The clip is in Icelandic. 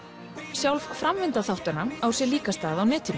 sjálf framvinda þáttanna á sér líka stað á netinu